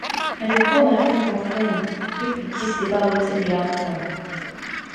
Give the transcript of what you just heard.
i dey call my friend for fone make we gist about wetin dey happen